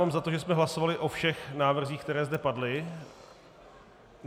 Mám za to, že jsme hlasovali o všech návrzích, které zde padly.